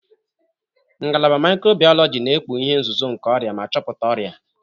Ngalaba mikrobiologi na-ekpughe ihe nzuzo nke ọrịa ma chọpụta ọrịa.